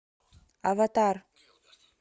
аватар